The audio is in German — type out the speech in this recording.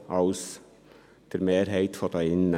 lässt als der Mehrheit hier drin.